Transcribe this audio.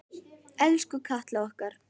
Elsku Katla okkar.